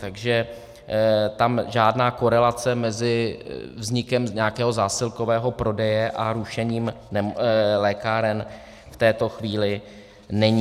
Takže tam žádná korelace mezi vznikem nějakého zásilkového prodeje a rušením lékáren v této chvíli není.